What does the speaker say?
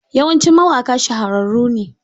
Yawancin mawaƙa shahararru ne.